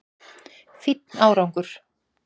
Fínn árangur!